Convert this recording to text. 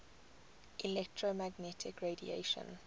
electromagnetic radiation